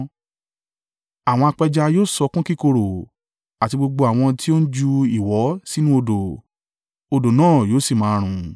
Àwọn apẹja yóò sọkún kíkorò, àti gbogbo àwọn tí ó ń ju ìwọ̀ sínú odò; odò náà yóò sì máa rùn.